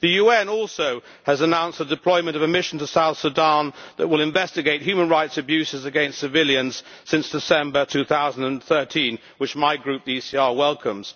The UN also has announced the deployment of a mission to South Sudan that will investigate human rights abuses against civilians since December 2013, which my group, the ECR, welcomes.